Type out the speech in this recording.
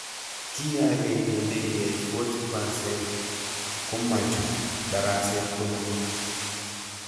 Kiy ag'eng'e nekiyai 40% komachut daraset komie